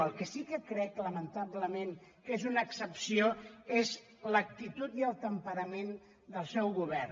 el que sí que crec lamentablement que és una excepció és l’ac·titud i el temperament del seu govern